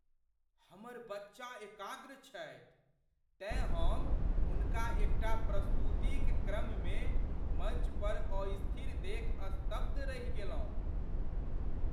हमर बच्चा एकाग्र छथि तेँ हम हुनका एकटा प्रस्तुतिक क्रममे मञ्च पर अस्थिर देखि स्तब्ध रहि गेलहुँ।